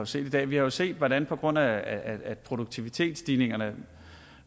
ser i dag vi har jo set hvordan på grund af produktivitetsstigningerne